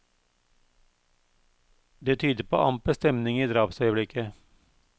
Det tyder på amper stemning i drapsøyeblikket.